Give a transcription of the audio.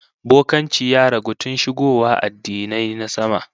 Bokanci ya ragu tun shigowa addinai na sama